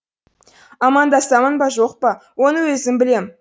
амандасамын ба жоқ па оны өзім білем